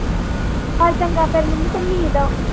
ਚਲ ਚੰਗਾ ਫੇਰ ਮੰਮੀ ਤੈਨੂੰ ਨੀਂਦ ਆ।